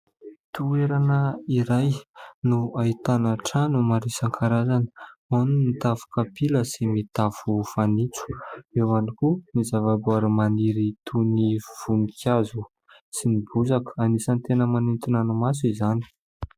Toerana iray no ahitana trano maro isan-karazany ao ny tafo kapila sy ny tafo fanitso ; eo ihany koa ny zava-boary maniry toy ny voninkazo sy ny bozaka anisany tena manintona ny maso izany.